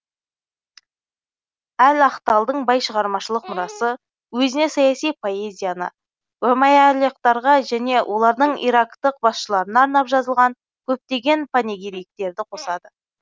әл ахталдың бай шығармашылық мұрасы өзіне саяси поэзияны умәйялықтарға және олардың ирактық басшыларына арнап жазылған көптеген панегириктерді қосады